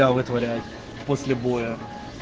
после боя